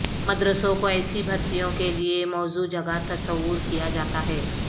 مدرسوں کو ایسی بھرتیوں کے لیے موزوں جگہ تصور کیا جاتا ہے